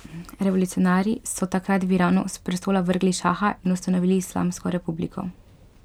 Revolucionarji so takrat v Iranu s prestola vrgli šaha in ustanovili islamsko republiko.